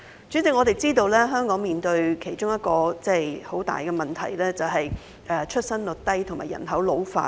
主席，我們知道香港面對的其中一大問題，是出生率低和人口老化。